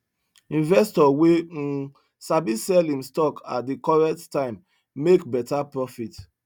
investor wey um sabi sell him stock at the correct time make better profit